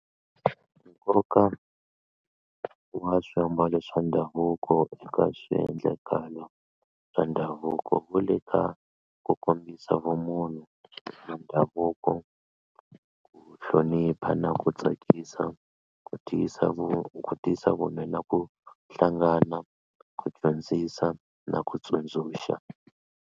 Nkoka wa swiambalo swa ndhavuko eka swiendlakalo swa ndhavuko wu le ka ku kombisa vumunhu bya ndhavuko ku hlonipha na ku tsakisa ku dyisa na ku hlangana ku dyondzisa na ku tsundzuxa.